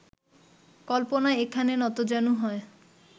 কল্পনা এখানে নতজানু হয়